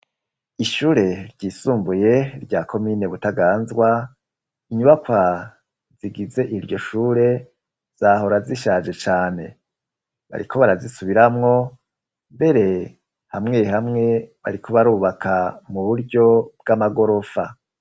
Ishure ry'isumbuye rya komine Butaganzwa, inyubaka zigize iryo shure zahora zishaje cane. Bariko barazisubiramwo mbere hamwe hamwe, bariko barubaka mu buryo bw'amagorofa.